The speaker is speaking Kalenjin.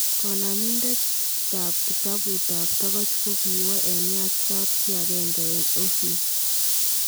Kanamiindet ab kitabutab tokoch kokiwee en nyach kapchii agenge en Ohio